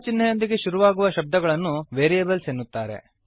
ಚಿಹ್ನೆಯೊಂದಿಗೆ ಶುರುವಾಗುವ ಶಬ್ದಗಳನ್ನು ವೇರಿಯೇಬಲ್ಸ್ ಎನ್ನುತ್ತಾರೆ